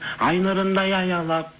ай нұрындай аялап